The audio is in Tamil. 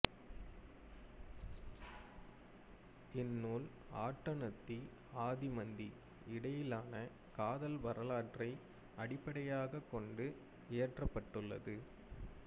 இந் நூல் ஆட்டனத்தி ஆதிமந்தி இடையிலான காதல் வரலாற்றை அடிப்படையாகக் கொண்டு இயற்றப்பட்டுள்ளது